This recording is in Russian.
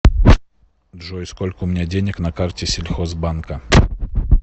джой сколько у меня денег на карте сельхозбанка